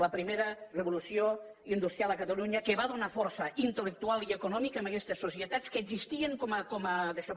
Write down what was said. la primera revolució industrial a catalunya que va donar força intel·lectual i econòmica amb aquestes societats que existien com a daixò